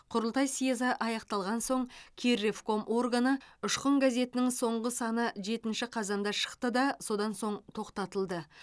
құрылтай сьезі аяқталған соң кирревком органы ұшқын газетінің соңғы саны жетінші қазанда шықты да содан соң тоқтатылды